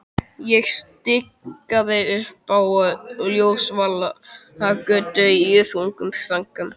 Ég stikaði upp á Ljósvallagötu í þungum þönkum.